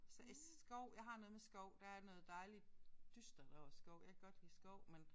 I i skov jeg har noget med skov der er noget dejligt dystert over skov. Jeg kan godt lide skov men